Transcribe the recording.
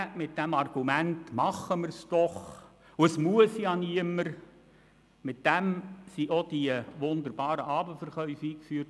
Mit dem Argument, man könne es ja einführen und niemand sei gezwungen mitzumachen, wurden auch die wunderbaren Abendverkäufe eingeführt.